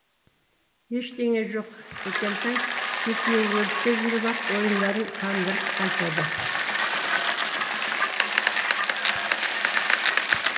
ештеңе жоқ секентай екеуі өрісте жүріп ақ ойындарын қандырып қайтады